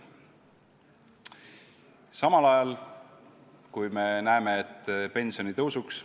Samal ajal, kui me näeme, et pensionitõusuks ...